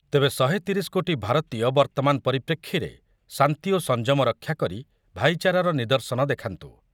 ତେବେ ଶହେ ତିରିଶି କୋଟି ଭାରତୀୟ ବର୍ତ୍ତମାନ ପରିପ୍ରେକ୍ଷୀରେ ଶାନ୍ତି ଓ ସଞ୍ଜମ ରକ୍ଷାକରି ଭାଇଚାରାର ନିଦର୍ଶନ ଦେଖାନ୍ତୁ ।